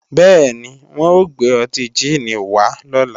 Bẹ́ẹ̀ni, wọ́n ò gbé ọtí jíìnì wá lọ́la